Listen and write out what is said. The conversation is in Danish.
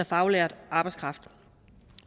faglært arbejdskraft